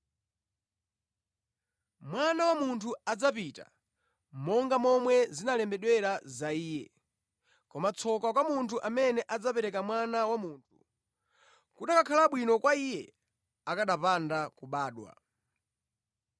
Mwana wa Munthu adzapita monga momwe zinalembedwera za Iye. Koma tsoka kwa munthu amene adzapereka Mwana wa Munthu! Kukanakhala bwino kwa iye akanapanda kubadwa.”